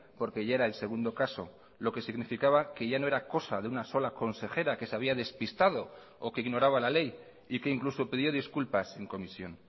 porque ya era el segundo caso lo que significaba que ya no era cosa de una sola consejera que se había despistado o que ignoraba la ley y que incluso pidió disculpas en comisión